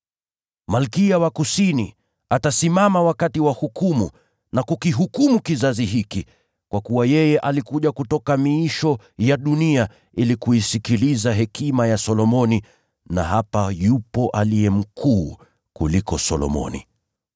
Malkia wa Kusini atasimama wakati wa hukumu na kukihukumu kizazi hiki. Kwa kuwa yeye alikuja kutoka miisho ya dunia ili kuisikiliza hekima ya Solomoni. Na hapa yupo aliye mkuu kuliko Solomoni.”